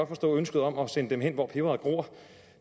forstå ønsket om at sende dem hen hvor peberet gror